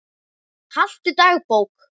Haltu dagbók.